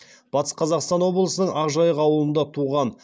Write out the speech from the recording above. батыс қазақстан облысының ақжайық ауданында туған